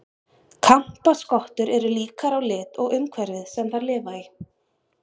Kampaskottur eru líkar á lit og umhverfið sem þær lifa í.